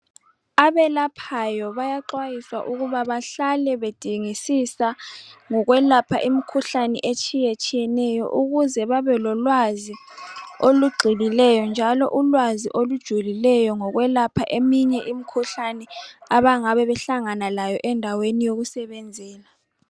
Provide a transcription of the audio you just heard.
Abelaphayo bayaxhwayiswa ukuba bahlale bedingisisa ngokwelapha imikhuhlane etshiyetshiyeneyo ukuze babe lolwazi olugxilileyo njalo ulwazi olujulileyo ngokwelapha eminye imikhuhlane abangabe behlangana layo endaweni yokusebenzela.